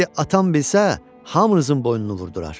İndi atam bilsə, hamınızın boynunu vurdurar."